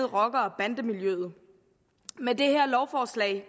rocker og bandemiljøet med det her lovforslag